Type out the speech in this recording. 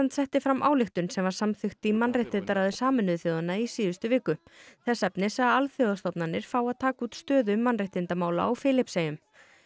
setti fram ályktun sem var samþykkt í mannréttindaráði Sameinuðu þjóðanna í síðustu viku þess efnis að alþjóðastofnanir fái að taka út stöðu mannréttindamála á Filippseyjum